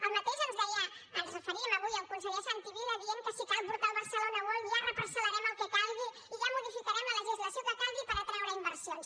el mateix ens deia ens hi referíem avui el conseller santi vila dient que si cal portar el barcelona world ja reparcelmodificarem la legislació que calgui per atraure inversions